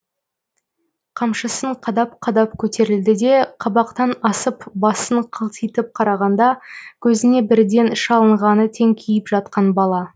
қамшысын қадап қадап көтерілді де қабақтан асып басын қылтитып қарағанда көзіне бірден шалынғаны теңкиіп жатқан бала